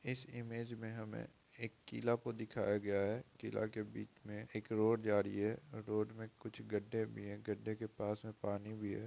इस इमेज में हमें एक किला को दिखाया गया है। किला के बीच में एक रोड जा रही है। रोड में कुछ गड्ढे भी हैं। गड्ढे के पास में पानी भी है।